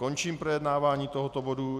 Končím projednávání tohoto bodu.